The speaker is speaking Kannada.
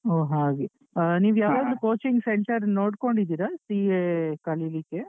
ಹೊ ಹಾಗೆ ನೀವು ಯಾವುದಾದ್ರು coaching center ನೋಡ್ಕೊಂಡಿದ್ದೀರಾ? CA ಕಲೀಲಿಕ್ಕೆ?